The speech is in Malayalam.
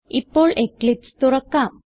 ഇപ്പോൾ എക്ലിപ്സ് തുറക്കാം